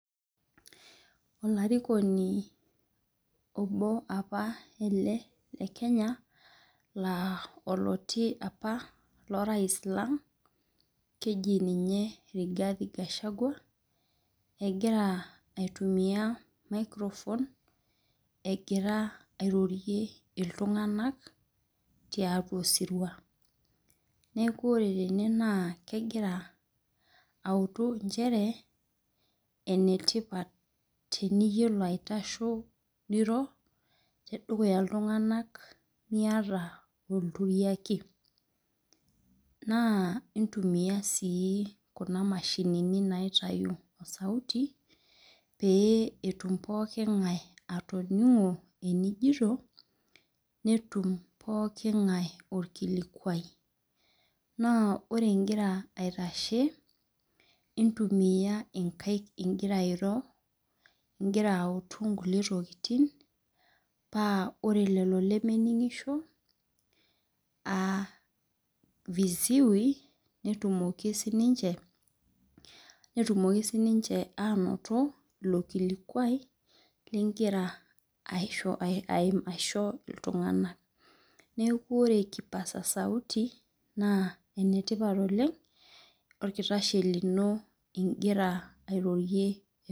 Olarikoni obo apa ele le kenya la oloti apa lorais lang keji ninye rigathi gashagwa egira aitumia microphone egira airorie ltunganak tiatua osiria neaku ore tene kegira aautu nchere enetipat enintasho airo tiatua ltunganak miata entuyaki na intumia na kuna mashinini naitau osaiti petum pooki ngae atoningo enijito netum pooki ngae orkikikuai na ore ingira aitashe intumia nkaik ingira airo ingira autu nkulie ntokitin pa ore lolo lemeningisho netumoki ainoto ilo kilikuai lingira aisho ltunganak neaku ore kipaanza sauti enetipat oleng orkitashei lino ingira airorie